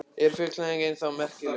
Er fullyrðingin þá merkingarlaus?